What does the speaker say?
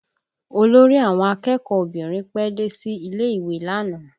Olórí àwọn akẹ́kọ̀ọ́ obìnrin pẹ́ dé sí ilé ìwé lánàá